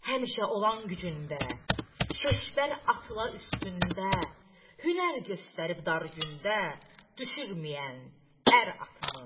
Həmişə olan gücündə, Şeşbər atla üstündə, hünər göstərib dar gündə düşürməyən ər atımı.